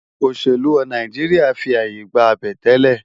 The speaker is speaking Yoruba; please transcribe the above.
Óṣélú Náijiriá fi áyé gbá àbẹ̀tẹ́lẹ̀